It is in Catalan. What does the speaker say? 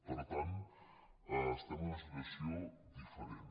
per tant estem en una situació diferent